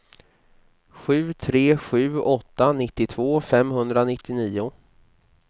sju tre sju åtta nittiotvå femhundranittionio